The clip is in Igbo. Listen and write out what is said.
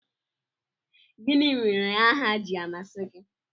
Gịnị mere aha ji amasị gị?